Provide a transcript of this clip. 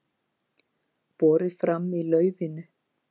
Borið fram í laufinu